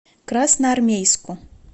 красноармейску